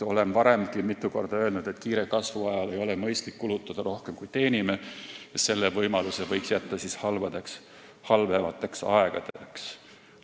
Olen varemgi mitu korda öelnud, et kiire kasvu ajal ei ole mõistlik kulutada rohkem, kui teenime, selle võimaluse võiks jätta halvemateks aegadeks.